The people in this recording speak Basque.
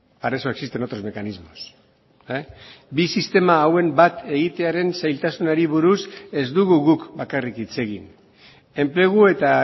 para eso existen otros mecanismos bi sistema hauen bat egitearen zailtasunari buruz ez dugu guk bakarrik hitz egin enplegu eta